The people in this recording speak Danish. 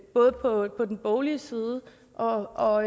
både på den boglige side og og